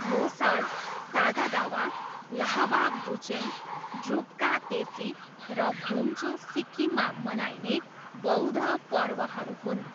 लोसार, सागा दावा, ल्हाबाब डुचेन, ड्रुप्का तेसी र भुम्चू सिक्किममा मनाइने बौद्ध पर्वहरू हुन्।